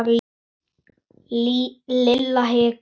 Lilla hikaði.